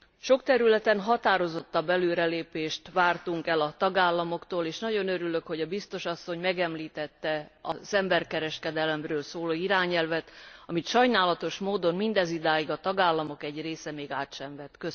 Sok területen határozottabb előrelépést vártunk el a tagállamoktól, és nagyon örülök, hogy a biztos asszony megemlítette az emberkereskedelemről szóló irányelvet, amelyet sajnálatos módon a tagállamok egy része ez idáig még át sem vett.